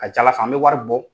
A ka ca ala fɛ an bɛ wari bɔ.